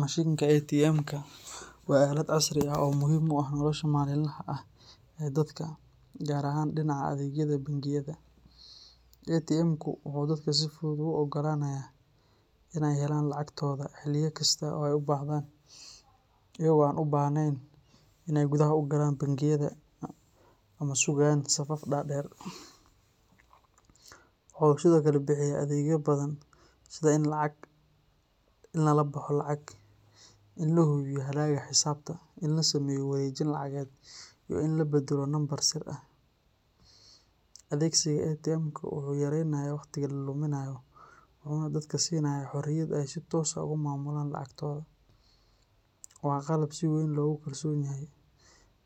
Mishinka ATM-ka waa aalad casri ah oo muhiim u ah nolosha maalinlaha ah ee dadka, gaar ahaan dhinaca adeegyada bangiyada. ATM-ku wuxuu dadka si fudud ugu oggolaanayaa inay helaan lacagtooda xilliyo kasta oo ay u baahdaan, iyaga oo aan u baahnayn inay gudaha u galaan bangiyada ama sugayaan safaf dhaadheer. Waxa uu sidoo kale bixiyaa adeegyo badan sida in lagala baxo lacag, in la hubiyo hadhaaga xisaabta, in la sameeyo wareejin lacageed, iyo in la beddelo lambar sir ah. Adeegsiga ATM-ka wuxuu yaraynayaa waqtiga la luminayo, wuxuuna dadka siinayaa xorriyad ay si toos ah uga maamulaan lacagtooda. Waa qalab si weyn loogu kalsoon yahay,